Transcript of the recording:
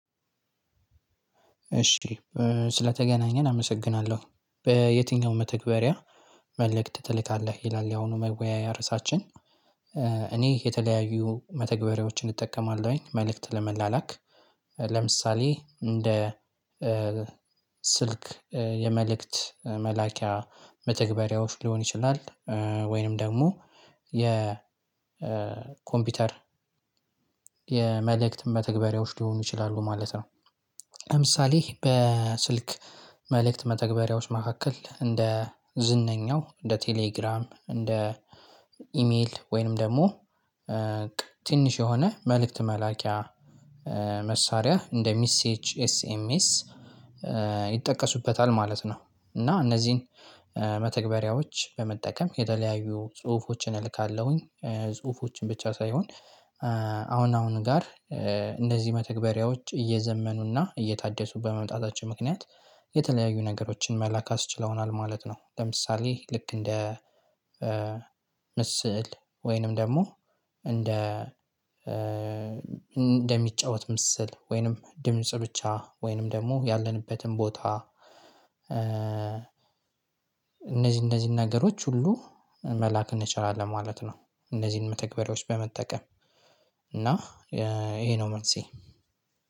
እሺ ስለተገናኘን አመሰግናለሁ በየትኛውም መተግበሪያ መልእክት ትልካለህ ይላል ያሁኑ መወያያ እርሳችን? እኔ የተለያዩ መተግበሪያዎችን እጠቀማለሁ መልእክት ለመላላክ። ለምሳሌ እንደ ስልክ የመልእክት መላኪያ መተግበሪያዎች ሊሆን ይችላል ወይንም ደግሞ የ ኮምፒውተር የመልእክት መተግበሪያዎች ሊሆኑ ይችላሉ ማለት ነው። ለምሳሌ በስልክ መልእክት መተግበሪያዎች መካከል እንደ ዝነኛው እንደ ቴሌግራም እንደ ኢሜይል ወይንም ደግሞ ትንሽ የሆነ መልእክት መላኪያ መሳሪያ እንደ ሚሴች ኤስኤምኤስ ይጠቀሱበታል ማለት ነው። እና እነዚህን መተግበሪያዎች በመጠቀም የተለያዩ ጽሁፎችን እልካለሁኝ ጽሁፎችን ብቻ ሳይሆን። አሁን አሁን ጋር እንደዚህ መተግበሪያዎች እየዘመኑና እየታደሱ በመምጣታቸው ምክንያት የተለያዩ ነገሮችን መላክ አስችለውናል ማለት ነው። ለምሳሌ ልክ እንደ ምስል ወይንም ደግሞ እንደ እንደሚጫወት ምስል ወይንም ድምጽ ብቻ ወይንም ደግሞ ያለንበትን ቦታ። እነዚህ እነዚህን ነገሮች ሁሉ መላክ እንችላለን ማለት ነው። እነዚህን መተግበሪያዎች በመጠቀም እና ይሄ ነው መልሴ።